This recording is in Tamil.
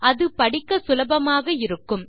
அது படிக்க சுலபமாக இருக்கும்